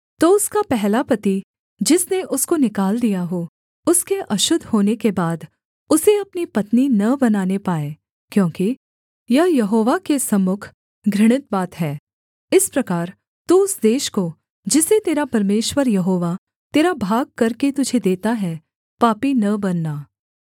तो उसका पहला पति जिसने उसको निकाल दिया हो उसके अशुद्ध होने के बाद उसे अपनी पत्नी न बनाने पाए क्योंकि यह यहोवा के सम्मुख घृणित बात है इस प्रकार तू उस देश को जिसे तेरा परमेश्वर यहोवा तेरा भाग करके तुझे देता है पापी न बनाना